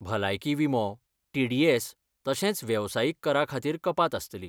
भलायकी विमो, टिडीएस तशेंच वेवसायीक करा खातीर कपात आस्तली.